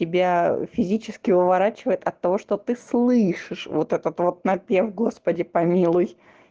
тебя физически выворачивает от того что ты слышишь вот этот вот напев господи помилуй